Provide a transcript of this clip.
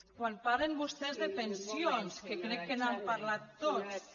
quan parlen vostès de pensions que crec que n’han parlat tots